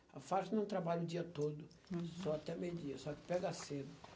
A Firestone não trabalha o dia todo, uhum, só até meio-dia, só que pega cedo.